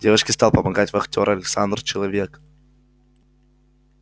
девочке стал помогать вахтёр александр человек